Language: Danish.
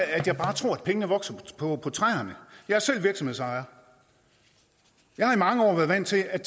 at jeg bare tror at pengene vokser på træerne jeg er selv virksomhedsejer jeg har i mange år været vant til at